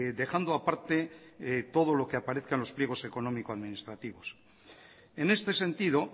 dejando aparte todo lo que aparezca en los pliegos económico administrativos en este sentido